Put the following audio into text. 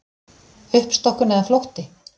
Uppstokkun eða flótti?